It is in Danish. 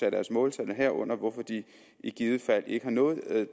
af deres måltal herunder for hvorfor de i givet fald ikke har nået